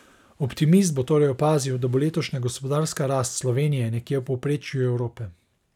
Optimist bo torej opazil, da bo letošnja gospodarska rast Slovenije nekje v povprečju Evrope.